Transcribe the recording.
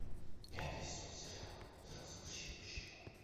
пятый сезон сериала тринадцать причин почему